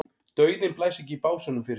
Dauðinn blæs ekki í básúnum fyrir sér.